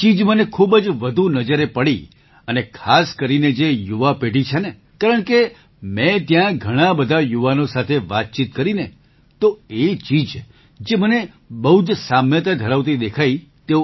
એ ચીજ મને ખૂબ જ વધુ નજરે પડી અને ખાસ કરીને જે યુવા પેઢી છે ને કારણકે મેં ત્યાં ઘણા બધા યુવાનો સાથે વાતચીત કરી ને તો એ ચીજ જે મને બહુ જ સામ્યતા ધરાવતી દેખાઈ